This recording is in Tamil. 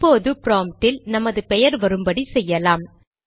இப்போது ப்ராம்ப்டில் நமது பெயர் வரும்படி செய்யலாம்